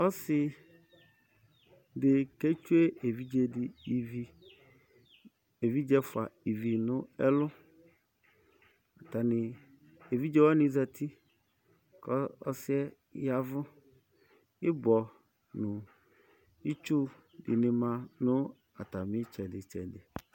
Ɔsɩdɩ ketsue ɩvɩ evidze ɛfuadi nɛlʊ Evidze wani zati, kɔsie yavʊ Ɩbɔ nɩtsʊ ma natamɩtsɛditsɛdi